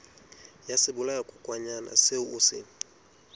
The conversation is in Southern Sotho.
ya sebolayakokwanyana seo o se